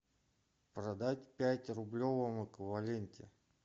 продать пять в рублевом эквиваленте